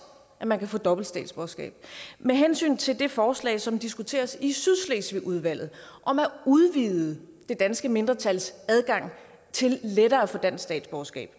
at man kan få dobbelt statsborgerskab med hensyn til det forslag som diskuteres i sydslesvigudvalget om at udvide det danske mindretals adgang til lettere at få dansk statsborgerskab